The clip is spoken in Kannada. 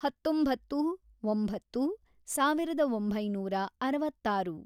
ಹತ್ತೊಂಬತ್ತು, ಒಂಬತ್ತು, ಸಾವಿರದ ಒಂಬೈನೂರ ಅರವತ್ತಾರು